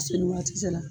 Seli ni waati sera